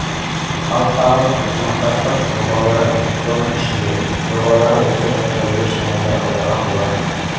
халықаралық ынтымақтастық жобалары соның ішінде жобалары осы жайтқа ерекше назар аударған болатын